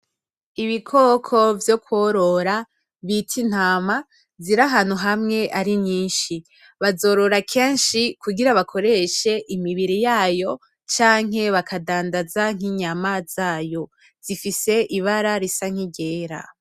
Ibikoko vyo kworora bita intama, ziri ahantu hamwe ari nyinshi. Bazorora kenshi kugira bakoreshe imibiri yayo canke bakadandaza nk'inyama zayo. Zifise ibara risa n'iryera.